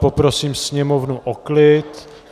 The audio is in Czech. Poprosím sněmovnu o klid.